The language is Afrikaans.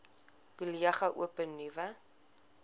kollege open nuwe